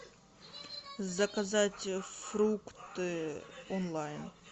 заказать фрукты онлайн